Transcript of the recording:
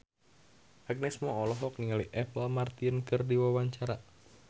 Agnes Mo olohok ningali Apple Martin keur diwawancara